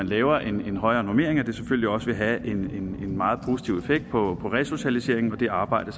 laver en højere normering at det selvfølgelig også vil have en meget positiv effekt på resocialiseringen og det arbejde